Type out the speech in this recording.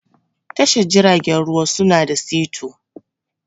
Tashar jiragen ruwa su na da sito.